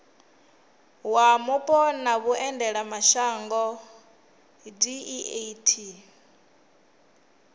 wa mupo na vhuendelamashango deat